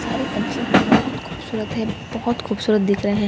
सारे पंछी बहुत खूबसूरत हैं बहुत खूबसूरत दिख रहे हैं सारे --